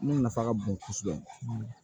Ne nafa ka bon kosɛbɛ